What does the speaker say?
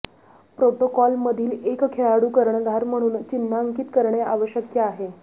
प्रोटोकॉलमधील एक खेळाडू कर्णधार म्हणून चिन्हांकित करणे आवश्यक आहे